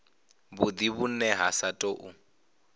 havhudi vhune ha sa tou